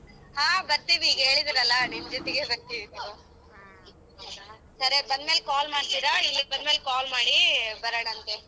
ಹಾ ಬರ್ತೀವಿ ಈಗ ಹೇಳಿದಿರಲ್ಲ ನಿಮ್ಮ್ ಜೊತೆಗೆ ಬರ್ತೀವಿ ತಗೋ ಸರಿ ಬಂದ್ಮೇಲೆ call ಮಾಡ್ತೀರಾ ಇಲ್ಲಿಗ್ ಬಂದ್ಮೇಲ್ call ಮಾಡಿ ಬರೋಣಂತೆ.